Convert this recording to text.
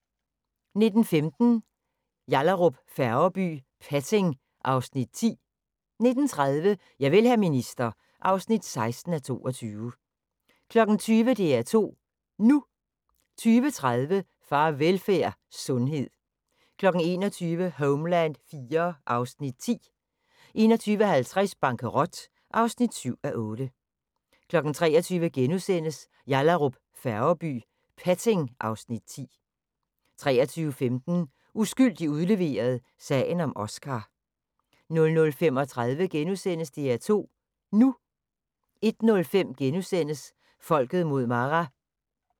19:15: Yallahrup Færgeby: Petting (Afs. 10) 19:30: Javel, hr. minister (16:22) 20:00: DR2 NU 20:30: Farvelfærd: Sundhed 21:00: Homeland IV (Afs. 10) 21:50: Bankerot (7:8) 23:00: Yallahrup Færgeby: Petting (Afs. 10)* 23:15: Uskyldig udleveret – sagen om Oscar 00:35: DR2 NU * 01:05: Folket mod Maras *